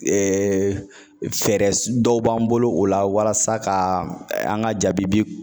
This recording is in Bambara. Ɛɛ fɛɛrɛ su dɔw b'an bolo o la walasa ka ɛ an ga jabibi